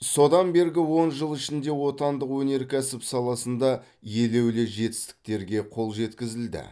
содан бергі он жыл ішінде отандық өнеркәсіп саласында елеулі жетістіктерге қол жеткізілді